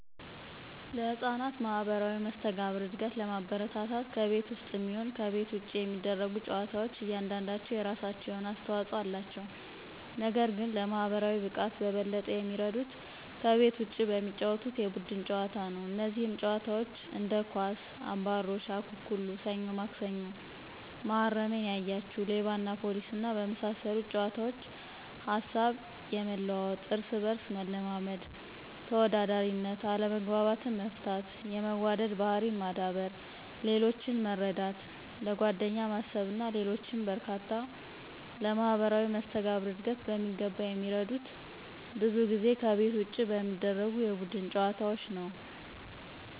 ለሕፃናት ማህበራዊ መስተጋብር እድገት ለማበረታታት ከቤት ውስጥም ይሁን ይሁን ከቤት ውጭ የሚደረጉ ጨዋታዎች እያንዳንዳቸው የራሳቸው የሆነ አስተዋጽኦ አላቸው። ነገር ግን ለማህበራዊ ብቃት በበለጠ የሚረዱት ከቤት ውጪ በሚጫወቱት የቡድን ጨዋታ ነው። እነዚህም ጨዋታዎች እንደ ኳስ፣ አባሮሽ፣ አኩኩሉ፣ ሰኞ ማክሰኞ፣ መሀረሜን ያያችሁ፣ ሌባና ፖሊስና በመሳሰሉት ጨዋታዎች ሀሳብ የመለዋወጥ፣ እርስ በርስ መለማመድ፣ ተወዳዳሪነት፣ አለመግባባትን መፍታት፣ የመዋደድ ባህሪን ማዳበር፣ ሌሎችን መረዳት፣ ለጓደኛ ማሰብና ሌሎችም በርካታ ለማህበራዊ መስተጋብር ዕድገት በሚገባ የሚረዱት ብዙ ጊዜ ከቤት ውጭ በሚደረጉ የቡድን ጨዋታዎች ነዉ።